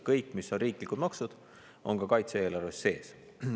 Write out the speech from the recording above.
Kõik riiklikud maksud on ka kaitse-eelarves sees.